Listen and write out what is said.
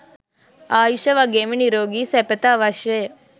ආයුෂ වගේම නිරෝගි සැපත අවශ්‍යය.